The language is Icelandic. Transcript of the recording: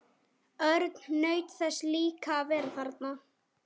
Örn naut þess líka að vera þarna.